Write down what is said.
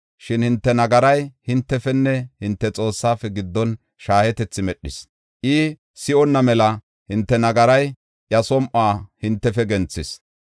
Shin hinte nagaray hintefenne hinte Xoossaafe giddon shaahetethi medhis. I si7onna mela hinte nagaray iya som7uwa hintefe genthis.